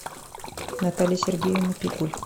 наталья сергеевна пикуль